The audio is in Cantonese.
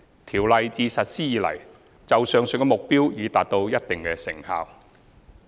《條例》自實施以來，就上述目標已達到一定的效果。